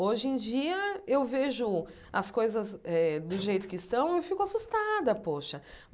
Hoje em dia, eu vejo as coisas eh do jeito que estão e fico assustada poxa.